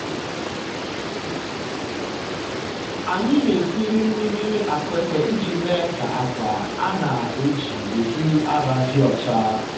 um anyị na-esiri um mmiri akueke iji mee ka akwa a na-eji um ehi ara dị ọcha.